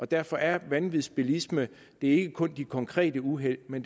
derfor er vanvidsbilisme ikke kun de konkrete uheld men